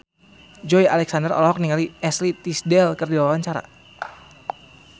Joey Alexander olohok ningali Ashley Tisdale keur diwawancara